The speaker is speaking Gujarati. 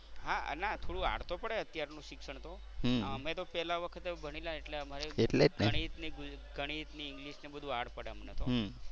હા ના થોડું hard તો પડે અત્યારનું શિક્ષણ તો. અમે તો પહેલા વખતે ભણેલા એટલે અમારે તો ગણિત ને ગણિત ને english ને બધુ hard પડે અમને તો.